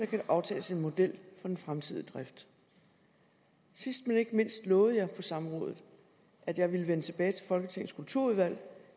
kan aftales en model for den fremtidige drift sidst men ikke mindst lovede jeg på samrådet at jeg ville vende tilbage til folketingets kulturudvalg